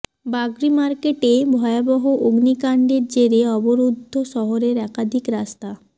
বাগরি মার্কেটে ভয়াবহ অগ্নিকাণ্ডের জেরে অবরুদ্ধ শহরের একাধিক রাস্তা